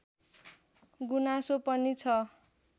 गुनासो पनि छ